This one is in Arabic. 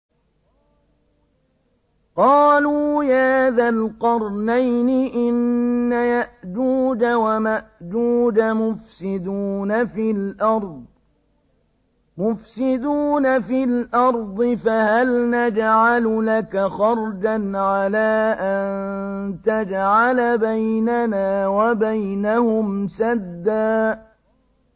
قَالُوا يَا ذَا الْقَرْنَيْنِ إِنَّ يَأْجُوجَ وَمَأْجُوجَ مُفْسِدُونَ فِي الْأَرْضِ فَهَلْ نَجْعَلُ لَكَ خَرْجًا عَلَىٰ أَن تَجْعَلَ بَيْنَنَا وَبَيْنَهُمْ سَدًّا